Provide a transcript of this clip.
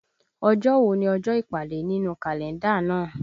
Ọjọ́ wo ni ọjọ́ ìpàdé nínú Kalenda náà?